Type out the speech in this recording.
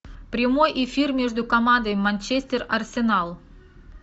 прямой эфир между командой манчестер арсенал